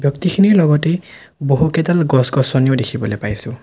খিনিৰ লগতেই বহুতকেইডাল গছ-গছনিও দেখিবলৈ পাইছোঁ।